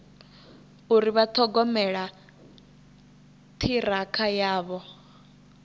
uri vha ṱhogomela ṱhirakha yavho